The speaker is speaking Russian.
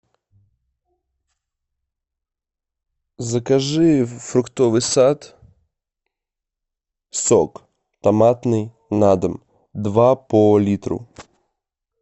закажи фруктовый сад сок томатный на дом два по литру